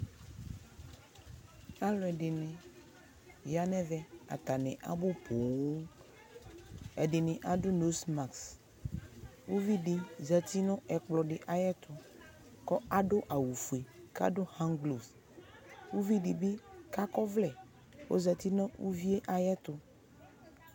aluɛdini ya nɛvɛ atani abu poo ɛdini adu nozmas uvidi zati nu ɛkplɔdi tu kadu awu ofue kadu handglum uvidi bi akɔ ɔvlɛ ku ɔzati nu uvie ayɛtu